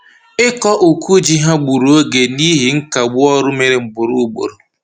Ịkọ uku ji ha gburu oge n'ihi nkagbu ọrụ mere ugboro ugboro